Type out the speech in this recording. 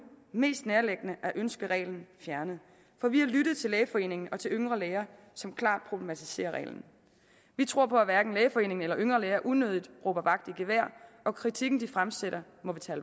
mest nærliggende at ønske reglen fjernet for vi har lyttet til lægeforeningen og til yngre læger som klart problematiserer reglen vi tror på at hverken lægeforeningen eller yngre læger unødigt råber vagt i gevær og kritikken de fremsætter